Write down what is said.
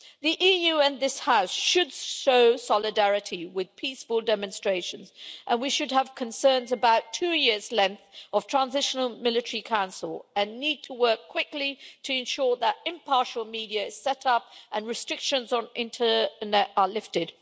The EU and this House should show solidarity with peaceful demonstrations, and we should have concerns about two years' length of transitional military council and need to work quickly to ensure that impartial media are set up and restrictions on internet are lifted.